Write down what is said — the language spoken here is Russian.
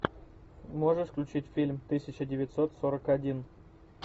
можешь включить фильм тысяча девятьсот сорок один